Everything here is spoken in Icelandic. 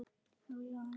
Má ég aðeins!